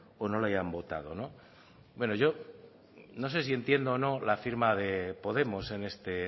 o no le hayan votado no bueno yo no sé si entiendo o no la firma de podemos en este